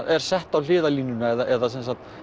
er sett á hliðarlínuna eða sem sagt